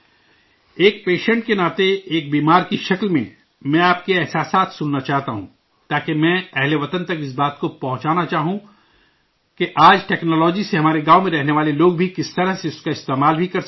ایک پیشنٹ کے ناطے، ایک دردی کے طور پر، میں آپ کے تجربات سننا چاہتا ہوں، تاکہ میں ملک کے شہریوں تک اس بات کو پہنچانا چاہوں کہ آج کی ٹیکنالوجی سے ہمارے گاؤں میں رہنے والے لوگ بھی کس طرح سے اس کا استعمال بھی کر سکتے ہیں